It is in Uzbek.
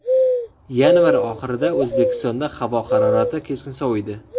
Yanvar oxirida O‘zbekistonda havo harorati keskin soviydi .